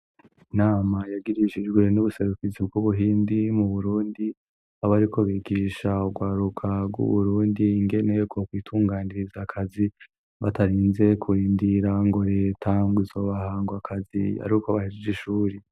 Inama yagirishijwe n'ubuserukizi bw'Ubuhindi mu burundi, aho bariko bigisha urwaruka rw'Uburundi ingene bokwitunganiriza akazi batarinze kurindira ngo leta ngo izobaha ako kazi ari uko bahejeje ishuri.